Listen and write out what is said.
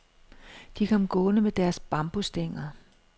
De kom gående med deres bambusstænger.